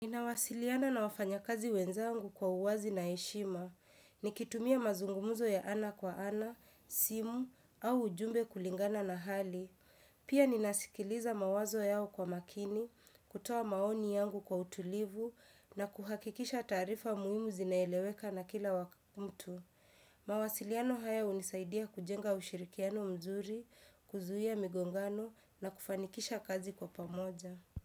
Ninawasiliana na wafanya kazi wenzangu kwa uwazi na heshima. Nikitumia mazungumzo ya ana kwa ana, simu, au ujumbe kulingana na hali. Pia ninasikiliza mawazo yao kwa makini, kutoa maoni yangu kwa utulivu, na kuhakikisha taarifa muhimu zinaeleweka na kila mtu. Mawasiliano haya hunisaidia kujenga ushirikiano mzuri, kuzuia migongano na kufanikisha kazi kwa pamoja.